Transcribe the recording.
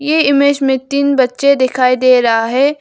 ये इमेज में तीन बच्चे दिखाई दे रहा है।